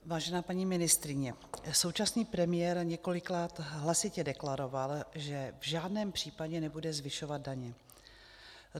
Vážená paní ministryně, současný premiér několikrát hlasitě deklaroval, že v žádném případě nebude zvyšovat daně.